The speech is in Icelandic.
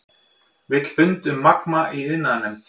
Vill fund um Magma í iðnaðarnefnd